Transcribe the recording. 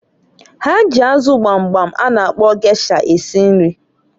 Ha ji azụ gbamgbam a na akpọ gesha esi nri.